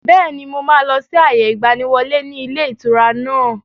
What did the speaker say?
Bẹ́ẹ̀ni, mo máa lọ sí àyè ìgbàníwọlé ni ilé ìtura náà.